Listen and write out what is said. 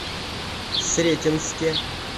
сретенске